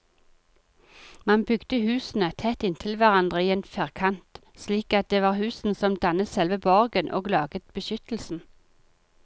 Man bygde husene tett inntil hverandre i en firkant, slik at det var husene som dannet selve borgen og laget beskyttelsen.